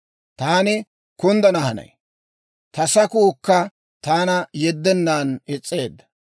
Taani kunddana hanay; ta sakuukka taana yeddennan is's'eedda.